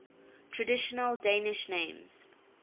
traditional danish names